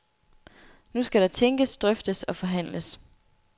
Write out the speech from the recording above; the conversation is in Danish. Nu skal der tænkes og drøftes og forhandles.